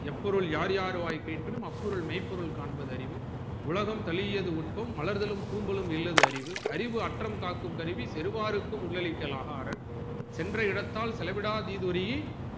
எப்பொருள் யார் யார்வாய் கேட்பினும் அப்பொருள் மெய்ப்பொருள் காண்பது அறிவு உலகம் தலியது உட்பம் மலர்தலும் பூந்தலும் இல்லது அறிவு அறிவு அற்றம் காக்கும் தருவி தெருவாரருக்கு உள்ளழிக்க ராகாரர் சென்ற இடத்தால் செலவிடா தீதுரின்